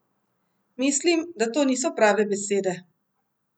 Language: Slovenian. Mislim, da to niso prave besede.